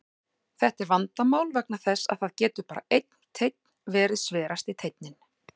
Þetta er vandamál vegna þess að það getur bara einn teinn verið sverasti teinninn.